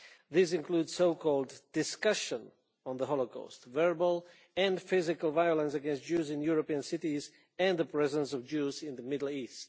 This includes so called discussion' of the Holocaust, and verbal and physical violence against Jews in European cities and the presence of Jews in the Middle East.